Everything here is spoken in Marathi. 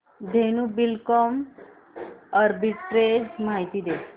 धेनु बिल्डकॉन आर्बिट्रेज माहिती दे